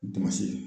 Damase